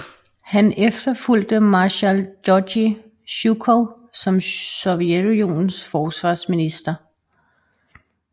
Han efterfulgte marshal Georgij Sjukov som Sovjetunionens forsvarsminister